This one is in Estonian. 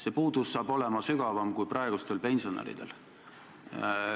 See puudus saab olema sügavam kui praegustel pensionäridel.